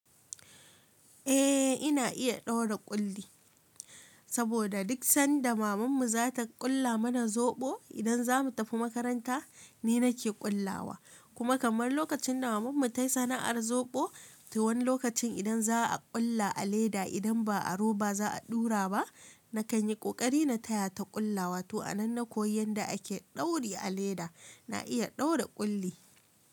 Eh ina iya ɗaura ƙulli, saboda duk sanda mamanmu za ta ƙulla mana zoɓo idan za mu tafi makaranta ni nake ƙullawa. Kuma kamar lokacin da mamanmu tai sana'ar zoɓo, to wani lokacin idan za a ƙulla a leda idan ba a roba za a ɗura ba, na kan yi ƙoƙari na taya ta ƙullawa. To a nan na koyi yanda ake dauri a leda. Na iya ɗaura ƙulli.